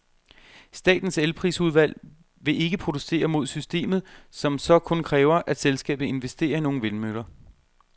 Statens elprisudvalg vil ikke protestere mod systemet, som så kun kræver, at selskabet investerer i nogle vindmøller.